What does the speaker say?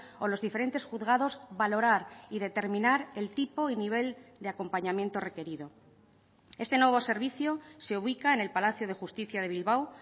o los diferentes juzgados valorar y determinar el tipo y nivel de acompañamiento requerido este nuevo servicio se ubica en el palacio de justicia de bilbao